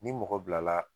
Ni mɔgɔ bilala